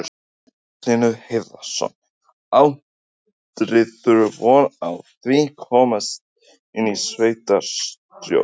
Magnús Hlynur Hreiðarsson: Áttirðu von á því að komast inn í sveitarstjórn?